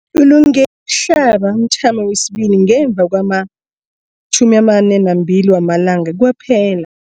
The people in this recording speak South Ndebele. Ulungele ukuhlaba umthamo wesibili ngemva kwama-42 wamalanga kwaphela.